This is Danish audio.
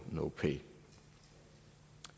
no pay